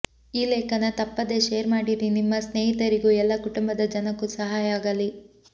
ಈ ಲೇಖನ ತಪ್ಪದೇ ಶೇರ್ ಮಾಡಿರಿ ನಿಮ್ಮ ಸ್ನೇಹಿತರಿಗೂ ಎಲ್ಲ ಕುಟುಂಬದ ಜನಕ್ಕೂ ಸಹಾಯ ಆಗಲಿ